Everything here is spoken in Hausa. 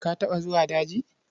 Ka taɓa zuwa daji?